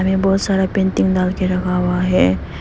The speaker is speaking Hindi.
ये बहोत सारा पेंटिंग डाल के रखा हुआ है।